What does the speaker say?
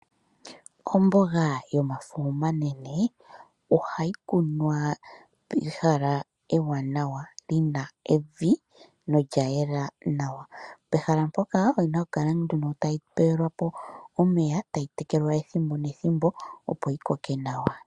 Omboga yomafo omanene ohayi kunwa pehala ewanawa lina evi nolyayela nawa pehala mpoka oyina okukala nduno tayi pelwapo omeya, tayi tekelwa ethimbo nethimbo opo yikoke nawa.